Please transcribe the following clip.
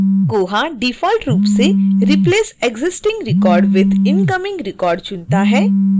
koha default रूप से replace existing record with incoming record चुनता है